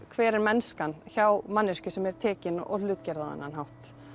hver er mennskan hjá manneskju sem er tekin og hlutgerð á þennan hátt